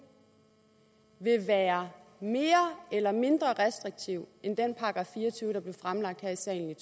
vil være mere eller mindre restriktiv end den § fire og tyve der blev fremsat her i salen